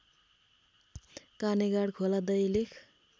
कानेगाड खोला दैलेख